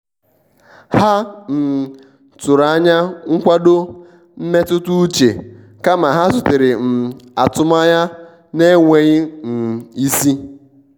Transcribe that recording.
ha um tụrụ anya nkwado mmetụta uche kama ha zutere um atụmanya na-enweghị um isi.